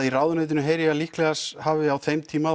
í ráðuneytinu heyri ég að líklegast hafi á þeim tíma